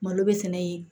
Malo bɛ sɛnɛ yen